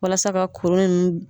Walasa ka kuru ninnu